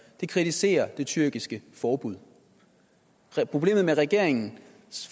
det kritiserer det tyrkiske forbud problemet med regeringens